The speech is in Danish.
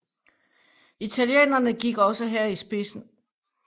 Italienerne gik også her i spidsen